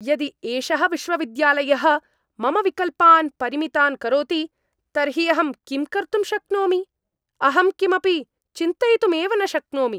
यदि एषः विश्वविद्यालयः मम विकल्पान् परिमितान् करोति तर्हि अहं किं कर्तुं शक्नोमि? अहं किमपि चिन्तयितुमेव न शक्नोमि।